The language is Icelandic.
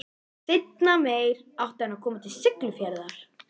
Seinna meir átti hann að koma til Siglufjarðar.